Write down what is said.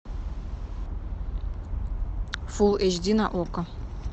фулл эйч ди на окко